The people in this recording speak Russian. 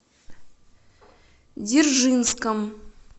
дзержинском